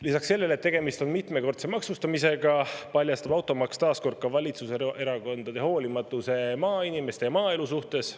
Lisaks sellele, et tegemist on mitmekordse maksustamisega, paljastab automaks taas kord ka valitsuserakondade hoolimatuse maainimeste ja maaelu suhtes.